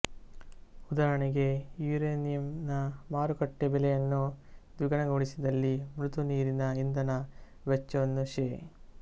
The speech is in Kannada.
ಉದಾಹರಣೆಗೆ ಯುರೇನಿಂಯನ ಮಾರುಕಟ್ಟೆ ಬೆಲೆಯನ್ನು ದ್ವಿಗುಣಗೊಳಿಸಿದಲ್ಲಿ ಮೃದು ನೀರಿನ ಇಂಧನ ವೆಚ್ಚವನ್ನು ಶೇ